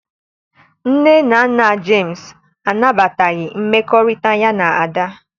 Nne na nna Jemsị anabataghị mmekọrịta ya na Ada